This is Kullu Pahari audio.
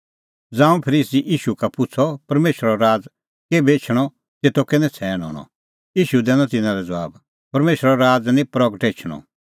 ज़ांऊं फरीसी ईशू का पुछ़अ परमेशरो राज़ केभै एछणअ तेतो कै नछ़ैण हणअ ईशू दैनअ तिन्नां लै ज़बाब परमेशरो राज़ निं प्रगटअ एछदअ